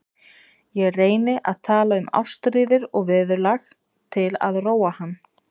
Ég reyni að tala um árstíðir og veðurlag til að róa hann.